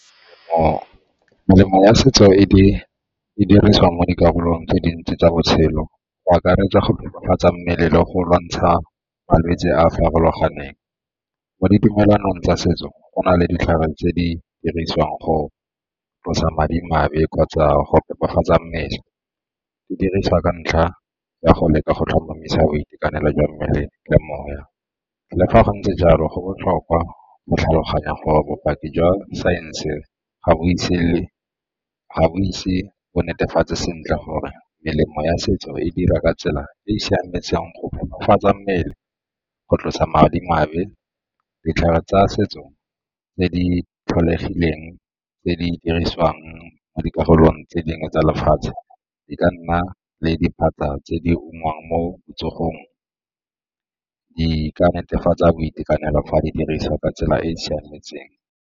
Melemo ya setso e dirisiwang mo dikarolong tse dintsi tsa botshelo go akaretsa go tokafatsa mmele le go lwantsha malwetse a a farologaneng. Mo ditumelong tsa setso go na le ditlhare tse di dirisiwang go tlosa madimabe kgotsa go phepafatsa mmele, di diriswa ka ntlha ya go leka go tlhomamisa boitekanelo jwa mmele le moya. Le fa go ntse jalo go botlhokwa go tlhaloganya gore bopaki jwa saense ga bo itse bo netefatse sentle gore melemo ya setso e dira ka tsela e e siametseng go phephafatsa mmele go tlosa madimabe. Ditlhare tsa setso tse di tlholegileng tse di dirisiwang mo dikarolong tse dingwe tsa lefatshe di ka nna le diphatsa tse di ungwang mo botsogong, di ka netefatsa boitekanelo fa di diriswa ka tsela e e siametseng.